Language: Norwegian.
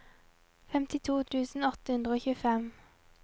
femtito tusen åtte hundre og tjuefem